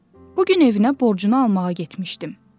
Bu gün evinə borcunu almağa getmişdim.